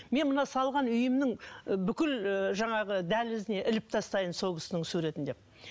мен мына салған үйімнің і бүкіл і жаңағы дәлізіне іліп тастайын сол кісінің суретін деп